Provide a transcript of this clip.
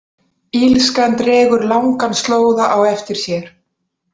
Illskan dregur langan slóða á eftir sér.